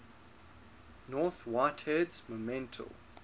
north whitehead's monumental